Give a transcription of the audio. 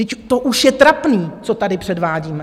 Vždyť to už je trapné, co tady předvádíme!